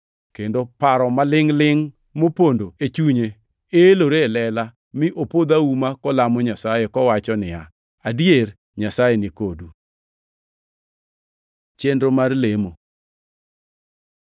kendo paro malingʼ-lingʼ mopondo e chunye elore e lela, mi opodh auma kolamo Nyasaye, kowacho niya, “Adier, Nyasaye ni kodu!” Chenro mar lemo